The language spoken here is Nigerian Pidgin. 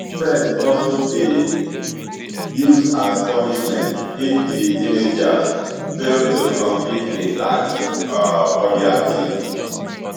sex also dey used as punishment if di teenagers fail to complete a task um for dia team